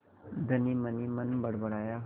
धनी मनहीमन बड़बड़ाया